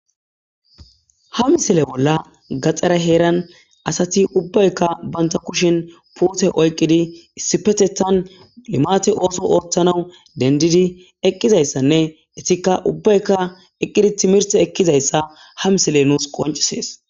Ha misile bolla gaxare heeran asati ubbayika banta kushen pute oyiqqidi issipetetan limate oso othanawu denididi eqqida issane etika ubbayika eqqidi timirte ekida isa ha misile nusi qoncisses.